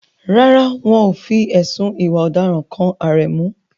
Rárá, wọn ò fi ẹ̀sùn ìwà ọ̀daràn kan Aremu.